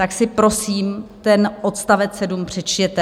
Tak si, prosím, ten odst. 7 přečtěte.